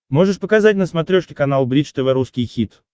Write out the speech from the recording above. можешь показать на смотрешке канал бридж тв русский хит